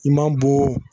I man bɔ